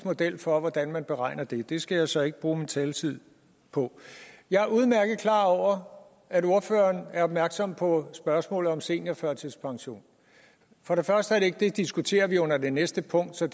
model for hvordan man beregner det det skal jeg så ikke bruge min taletid på jeg er udmærket klar over at ordføreren er opmærksom på spørgsmålet om en seniorførtidspension det diskuterer vi under det næste punkt så